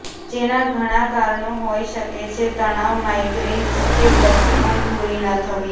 જેના ઘણા કારણો હોઈ શકે છે તણાવ માઈગ્રેન કે પછી ઉંઘ પૂરી ન થવી